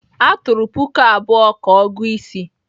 A tụrụ puku abụọ ka ọgị-isi.